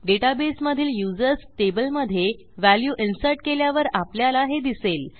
डेटाबेसमधील users टेबलमधे value insertकेल्यावर आपल्याला हे दिसेल